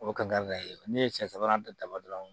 O ka na ye ne ye cɛ sabanan ta daba dɔrɔn